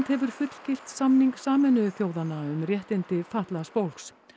hefur fullgilt samning Sameinuðu þjóðanna um réttindi fatlaðs fólks